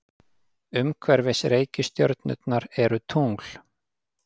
Umhverfis reikistjörnurnar eru tungl.